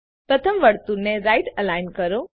પ્રથમ વર્તુળને right align કરો